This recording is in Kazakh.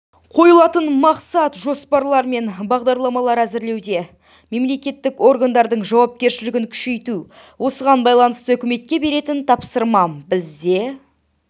қойылатын мақсат жоспарлар мен бағдарламалар әзірлеуде мемлекеттік органдардың жауапкершілігін күшейту осыған байланысты үкіметке беретін тапсырмам бізде